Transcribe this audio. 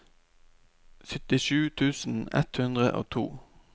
syttisju tusen ett hundre og to